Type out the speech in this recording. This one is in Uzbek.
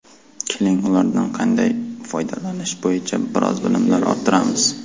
Keling, ulardan qanday foydalanish bo‘yicha biroz bilimlar orttiramiz.